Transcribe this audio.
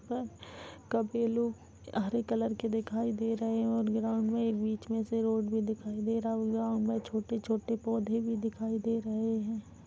कपिलो हरे कलर के दिखाई दे रहे हैं ग्राउंड में एक बीच में से रोड भी दिखाई दे रहा है उस ग्राउंड में छोटे-छोटे पौधे भी दिखाई दे रहे हैं।